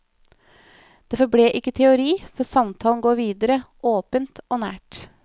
Det forble ikke teori, for samtalen går videre, åpent og nært.